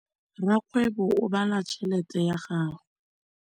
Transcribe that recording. Rakgwêbô o bala tšheletê ya gagwe.